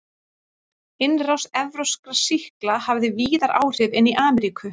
Innrás evrópskra sýkla hafði víðar áhrif en í Ameríku.